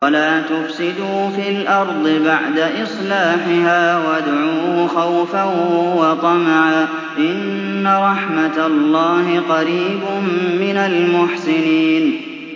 وَلَا تُفْسِدُوا فِي الْأَرْضِ بَعْدَ إِصْلَاحِهَا وَادْعُوهُ خَوْفًا وَطَمَعًا ۚ إِنَّ رَحْمَتَ اللَّهِ قَرِيبٌ مِّنَ الْمُحْسِنِينَ